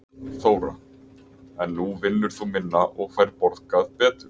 Þóra: En nú vinnur þú minna og færð borgað betur?